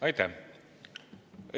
Aitäh!